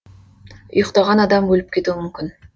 ұйықтаған адам өліп кетуі мүмкін